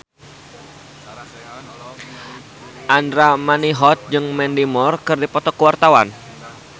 Andra Manihot jeung Mandy Moore keur dipoto ku wartawan